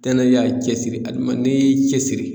Tɛnɛ y'a cɛ siri adama n'i y'i cɛ siri